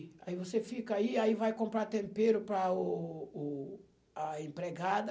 Aí você fica aí, aí vai comprar tempero para o o a empregada.